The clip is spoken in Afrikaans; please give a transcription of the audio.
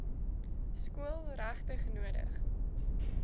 skool regtig nodig